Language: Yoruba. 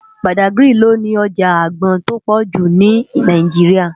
Bádágiri lò ni òjá ágbòn tó pòjú ni Náijiriá